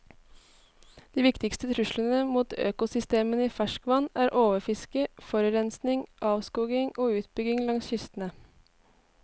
De viktigste truslene mot økosystemene i ferskvann er overfiske, forurensning, avskoging og utbygging langs kystene.